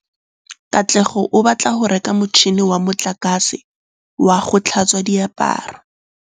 Katlego o batla go reka motšhine wa motlakase wa go tlhatswa diaparo.